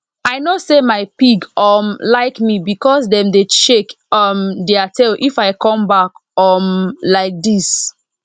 i know say my pig um like me because dem dey shake um their tail if i come back um like this